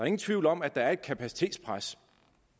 ingen tvivl om at der er et kapacitetspres